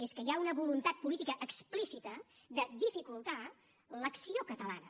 és que hi ha una voluntat política explícita de dificultar l’acció catalana